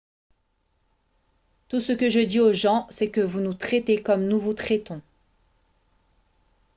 tout ce que je dis aux gens c'est que vous nous traitez comme nous vous traitons